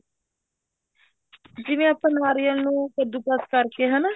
ਜਿਵੇਂ ਆਪਾਂ ਨਾਰੀਅਲ ਨੂੰ ਕੱਦੂ ਕਸ਼ ਕਰਕੇ ਹਨਾ